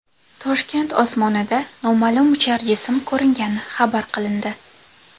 Toshkent osmonida noma’lum uchar jism ko‘ringani xabar qilindi.